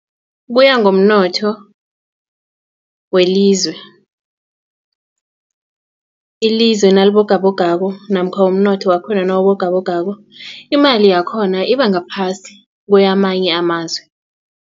Kuya ngomnotho welizwe ilizwe nalibogabogako namkha umnotho wakhona nawubogabogako imali yakhona iba ngaphasi kweyamanye amazwe.